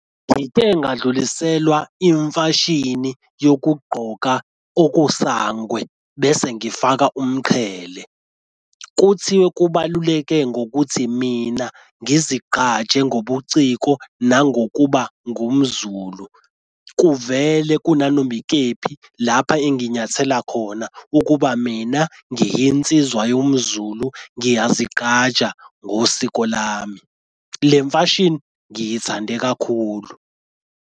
Into engadluliselwa imfashini yokugqoka okusangwe bese ngifaka umqhele, kuthiwe kubaluleke ngokuthi mina ngizigqaje ngobuciko nangokuba ngumZulu. Kuvele kunanoma ikephi lapha enginyathela khona ukuba mina ngiyinsizwa yomZulu ngiyazigqaja ngosiko lami. Le mfashini ngiyithande kakhulu.